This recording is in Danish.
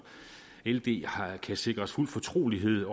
ld kan sikres fuld fortrolighed